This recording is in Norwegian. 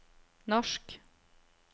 norsk